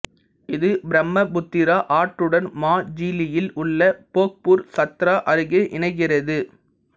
இது பிரம்மபுத்திரா ஆற்றுடன் மாஜீலியில் உள்ள போக்பூர் சத்ரா அருகே இணைகிறது